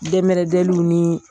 Dɛmɛrɛdɛ minu in